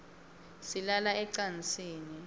silala ecansini